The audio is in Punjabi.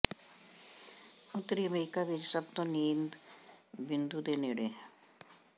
ਉੱਤਰੀ ਅਮਰੀਕਾ ਵਿੱਚ ਸਭ ਤੋਂ ਨੀਚ ਬਿੰਦੂ ਦੇ ਨੇੜੇ